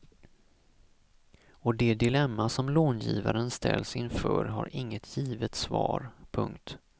Och det dilemma som långivaren ställs inför har inget givet svar. punkt